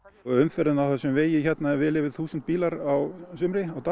umferðin á þessum vegi er vel yfir þúsund bílar á sumrin á dag